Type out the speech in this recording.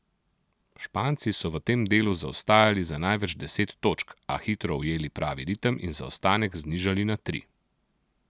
Španci so v tem delu zaostajali za največ deset točk, a hitro ujeli pravi ritem in zaostanek znižali na tri.